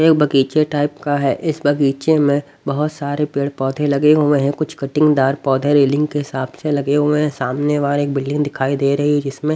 एक बगीचे टाइप का है इस बगीचे में बहुत सारे पेड़-पौधे लगे हुए हैं कुछ कटिंगदार पौधे रेलिंग के हिसाब से लगे हुए हैं सामने वाले एक बिल्डिंग दिखाई दे रही है जिसमें--